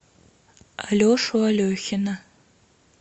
алешу алехина